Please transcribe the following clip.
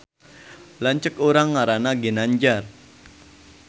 Lanceuk urang ngaranna Ginanjar